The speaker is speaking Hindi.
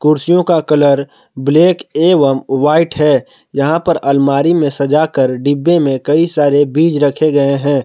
कुर्सियों का कलर ब्लैक एवम व्हाइट है यहां पर अलमारी में सजाकर डिब्बे में कई सारे बीज रखे गए हैं।